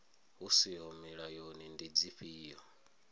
hu siho mulayoni ndi dzifhio